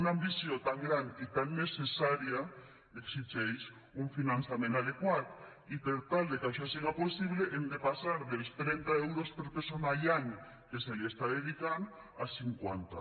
una ambició tan gran i tan necessària exigeix un finançament adequat i per tal que això siga possible hem de passar dels trenta euros per persona i any que s’hi està dedicant a cinquanta